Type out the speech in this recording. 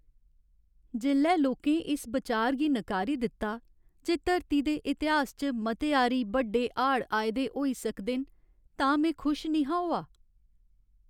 जेल्लै लोकें इस बचार गी नकारी दित्ता जे धरती दे इतिहास च मते आरी बड्डे हाड़ आए दे होई सकदे न तां में खुश निं हा होआ।